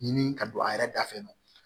Ɲini ka don a yɛrɛ da fɛ